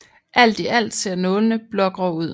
Alt i alt ser nålene blågrå ud